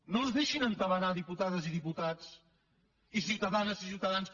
no es deixin entabanar diputades i diputats i ciutadanes i ciutadans